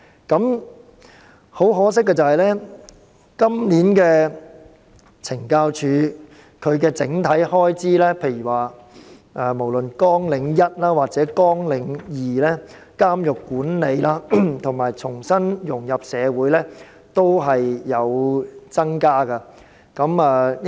今年懲教署的整體開支，無論是綱領1監獄管理或綱領2重新融入社會均有所增加。